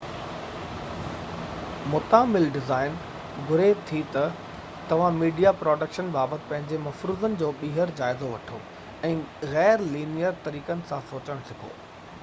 متعامل design گهري ٿي ته توهان ميڊيا پروڊڪشن بابت پنهنجي مفروضن جو ٻيهر جائزو وٺو ۽ غير-لينيئر طريقن سان سوچڻ سکو